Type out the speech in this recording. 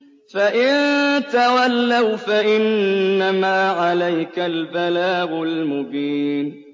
فَإِن تَوَلَّوْا فَإِنَّمَا عَلَيْكَ الْبَلَاغُ الْمُبِينُ